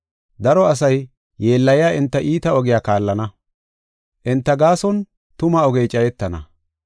Daro asay yeellayiya enta iita ogiya kaallana; enta gaason tuma ogey cayetana.